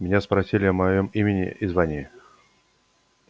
меня спросили о моём имени и звании